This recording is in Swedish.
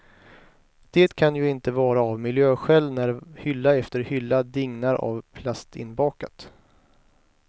Det kan ju inte vara av miljöskäl när hylla efter hylla dignar av plastinbakat.